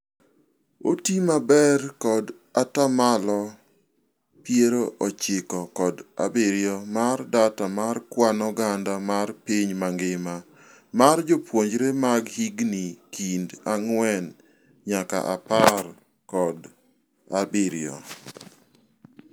Otii maber kod ataa malo piero ochiko kod abirio mar data mar kwan oganda mar piny mangima mar jopuonjre mag higni kind ang'wen nyaka apar kod abirio.